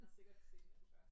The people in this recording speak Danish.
Vi har sikkert set hinanden før